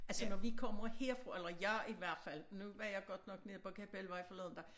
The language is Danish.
Altså når vi kommer her fra eller jeg i hvert fald nu var jeg godt nok nede på Kapelvej forleden dag